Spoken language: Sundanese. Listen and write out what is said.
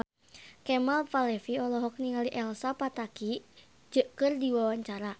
Kemal Palevi olohok ningali Elsa Pataky keur diwawancara